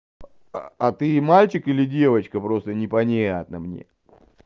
а ты мальчик или девочка просто непонятно мне